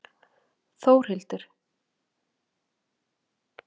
Þórhildur